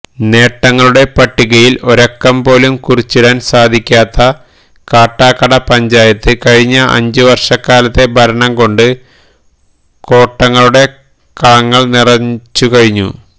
നേട്ടങ്ങളുടെ പട്ടികയില് ഒരക്കംപോലും കുറിച്ചിടാന് സാധിക്കാത്ത കാട്ടാക്കട പഞ്ചായത്ത് കഴിഞ്ഞ അഞ്ചുവര്ഷക്കാലത്തെ ഭരണംകൊണ്ട് കോട്ടങ്ങളുടെ കളങ്ങള് നിറച്ചുകഴിഞ്ഞു